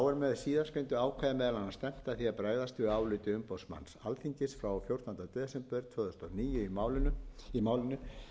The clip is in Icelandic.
síðastgreindu ákvæði meðal annars stefnt að því að bregðast við áliti umboðsmanns alþingis frá fjórtándu desember tvö þúsund og níu í máli